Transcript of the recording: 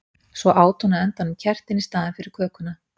Og svo át hún á endanum kertin í staðinn fyrir kökuna.